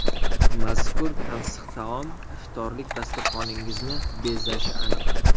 Mazkur tansiq taom iftorlik dasturxoningizni bezashi aniq.